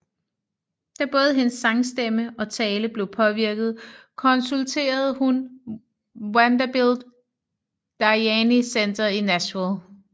Da både hendes sangstemme og tale blev påvirket konsulterede hun Vanderbilt Dayani Center i Nashville